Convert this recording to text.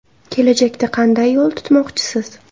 Kelajakda qanday yo‘l tutmoqchisiz?